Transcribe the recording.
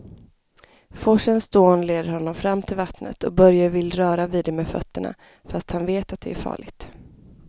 Forsens dån leder honom fram till vattnet och Börje vill röra vid det med fötterna, fast han vet att det är farligt.